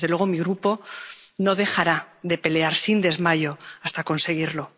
Desde luego, mi Grupo no dejará de pelear sin desmayo hasta conseguirlo.